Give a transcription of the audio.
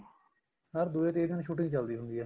ਹਰ ਦੂਜੇ ਤੀਜੇ ਦਿਨ shooting ਚੱਲਦੀ ਹੁੰਦੀ ਏ